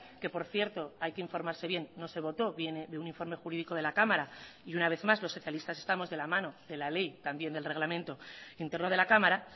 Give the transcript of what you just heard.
que por cierto hay que informarse bien no se votó viene de un informe jurídico de la cámara y una vez más los socialistas estamos de la mano de la ley también del reglamento interno de la cámara